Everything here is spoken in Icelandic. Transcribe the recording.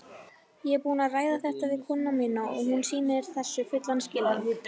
Ég er búinn að ræða þetta við konuna mína og hún sýnir þessu fullan skilning.